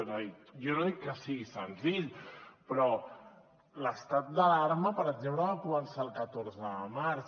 és a dir jo no dic que sigui senzill però l’estat d’alarma per exemple va començar el catorze de març